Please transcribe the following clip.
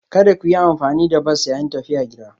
Kada ku yi amfani da bas yayin tafiya gida.